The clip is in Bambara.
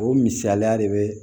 O misaliya de be